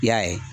I y'a ye